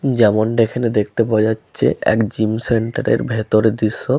যেমনটা এখানে দেখতে পাওয়া যাচ্ছে এক জিম সেন্টার এর ভেতরের দৃশ্য।